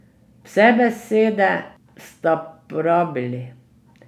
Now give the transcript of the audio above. Vse besede sta porabili.